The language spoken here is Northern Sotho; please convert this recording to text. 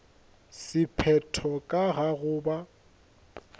sephetho ka ga go ba